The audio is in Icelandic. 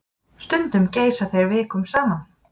Stundum geysa þeir vikum saman.